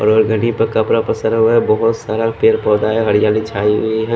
और वो घड़ी पे कपरा पसारा हुआ है बोहोत सारा पेड़ पोधा है हरियाली छाई हुई है।